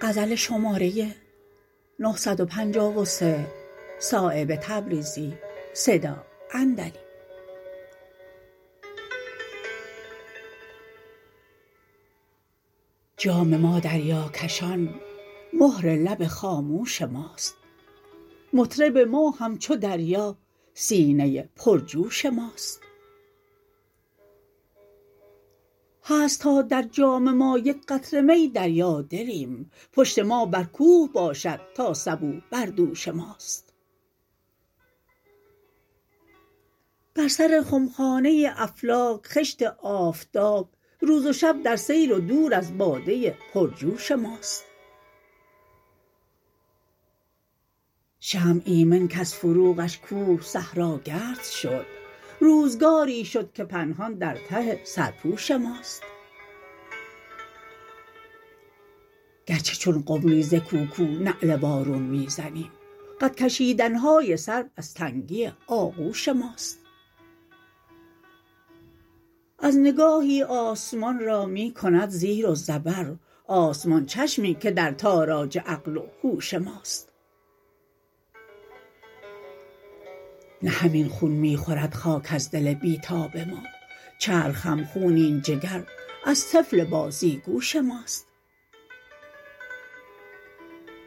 جام ما دریاکشان مهر لب خاموش ماست مطرب ما همچو دریا سینه پرجوش ماست هست تا در جام ما یک قطره می دریا دلیم پشت ما بر کوه باشد تا سبو بر دوش ماست بر سر خمخانه افلاک خشت آفتاب روز و شب در سیر و دور از باده پر جوش ماست شمع ایمن کز فروغش کوه صحراگرد شد روزگاری شد که پنهان در ته سرپوش ماست گرچه چون قمری ز کوکو نعل وارون می زنیم قدکشیدن های سرو از تنگی آغوش ماست از نگاهی آسمان را می کند زیر و زبر آسمان چشمی که در تاراج عقل و هوش ماست نه همین خون می خورد خاک از دل بی تاب ما چرخ هم خونین جگر از طفل بازیگوش ماست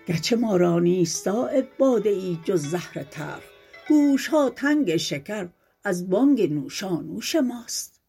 گرچه ما را نیست صایب باده ای جز زهر تلخ گوشها تنگ شکر از بانگ نوشانوش ماست